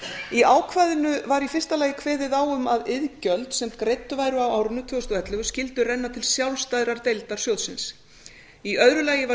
í ákvæðinu var í fyrsta lagi kveðið á um að iðgjöld sem greidd væru á árinu tvö þúsund og ellefu skyldu renna til sjálfstæðrar deildar sjóðsins einu öðru lagi var